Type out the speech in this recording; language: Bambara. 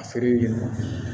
A feere yɛrɛ ma